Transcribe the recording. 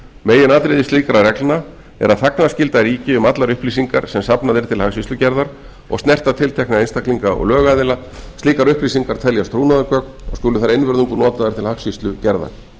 meginatriði slíkra reglna er að þagnarskylda ríki um allar upplýsingar sem safnað er til hagskýrslugerðar og snerta tiltekna einstaklinga og lögaðila slíkar upplýsingar teljast trúnaðargögn og skulu þær einvörðungu notaðar til hagskýrslugerðar